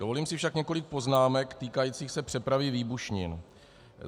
Dovolím si však několik poznámek, týkajících se přepravy výbušnin.